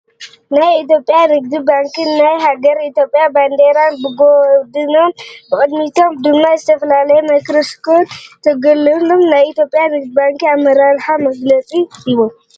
ናይ ኢትዮጵያ ንግዲ ባንክን ናይ ሃገርና ኢትዮጵያ ባንዴራን ብጎድኖም ብቅድሚቶም ድማ ዝተፈላለየ ማይይክሮፈን ተጌረሎም ናይ ኢትዮጵያ ንግዲ ባንክ ኣመራራሕ መግለፂ ሂቦም፡፡